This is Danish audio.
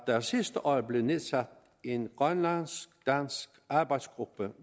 der sidste år blev nedsat en grønlandsk dansk arbejdsgruppe